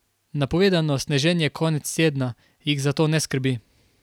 Napovedano sneženje konec tedna jih zato ne skrbi.